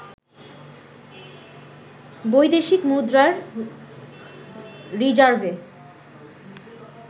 বৈদেশিক মুদ্রার রিজার্ভে